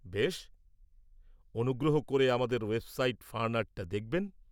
বেশ! অনুগ্রহ করে আমাদের ওয়েবসাইট ফানআর্টটা দেখবেন।